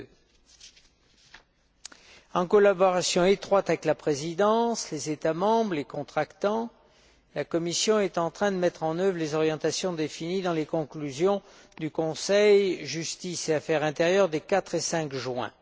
En étroite collaboration avec la Présidence, les États membres et les contractants, la Commission est en train de mettre en œuvre les orientations définies dans les conclusions du Conseil Justice et affaires intérieures des 4 et 5 juin.